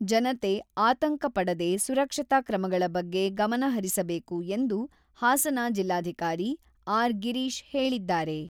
ಜನತೆ ಆತಂಕ ಪಡದೆ ಸುರಕ್ಷತಾ ಕ್ರಮಗಳ ಬಗ್ಗೆ ಗಮನ ಹರಿಸಬೇಕು ಎಂದು ಹಾಸನ ಜಿಲ್ಲಾಧಿಕಾರಿ ಆರ್.ಗಿರೀಶ್ ಹೇಳಿದ್ದಾರೆ.